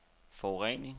forurening